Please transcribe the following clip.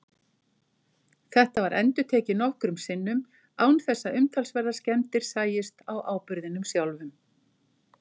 Þetta var endurtekið nokkrum sinnum án þess að umtalsverðar skemmdir sæjust á áburðinum sjálfum.